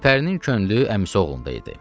Gülpərinin könlü əmisi oğlunda idi.